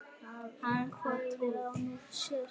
Hann hvorki heyrir né sér.